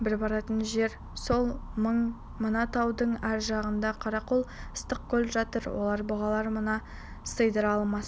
бір баратын жер сол мына таудың ар жағында қаракөл ыстықкөл жатыр олар бұғылар мұны сыйдыра алмас